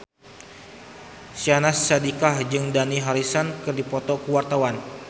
Syahnaz Sadiqah jeung Dani Harrison keur dipoto ku wartawan